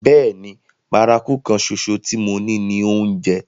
Bẹ́ẹ̀ni, bárakú kan ṣoṣo tí mo ní ni oúnjẹ.